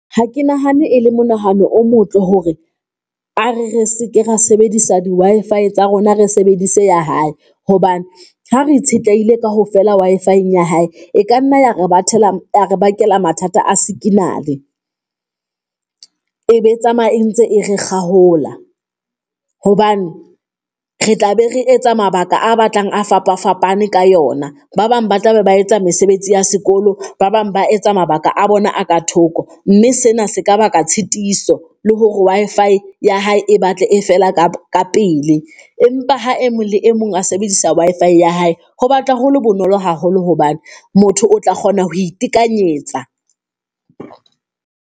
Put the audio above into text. Ha ke nahane e le mo nahane o motle hore a re, re seke ra sebedisa di-Wi-Fi tsa rona, re sebedise ya hae hobane ha re itshetlehile kaofela Wi-Fi-eng ya hae. E ka nna ya re batla re bakela mathata a sikinale, e be tsamaya e ntse e re kgaola hobane re tla be re etsa mabaka a batlang a fapafapane ka yona. Ba bang ba tla be ba etsa mesebetsi ya sekolo, ba bang ba etsa mabaka a bona a ka thoko, mme sena se ka baka tshitiso le hore Wi-Fi ya hae e batle e fela ka kapele. Empa ha e mong le e mong a sebedisa Wi-Fi ya hae. Ho batla hole bonolo haholo hobane motho o tla kgona ho itekanyetsa.